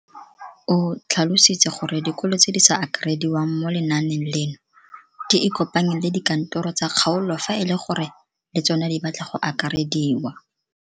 O tlhalositse gore dikolo tse di sa akarediwang mo lenaaneng leno di ikopanye le dikantoro tsa kgaolo fa e le gore le tsona di batla go akarediwa.